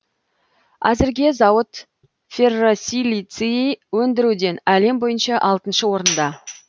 әзірге зауыт ферросилиций өндіруден әлем бойынша алтыншы орында